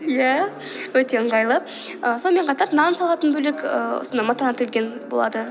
иә өте ыңғайлы ііі сонымен қатар нан салатын бөлек ііі осындай матадан тігілген болады